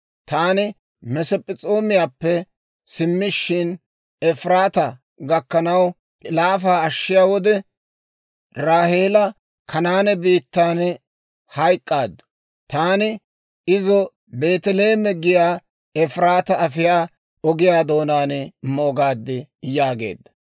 Taani Masp'p'es'oomiyaappe simmishin, Efiraataa gakkanaw laafa ashshiyaa wode, Raaheela Kanaane biittaan hayk'k'aaddu. Taani izo Beeteleeme giyaa Efiraataa afiyaa ogiyaa doonaan moogaad» yaageedda.